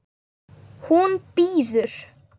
Hún bíður!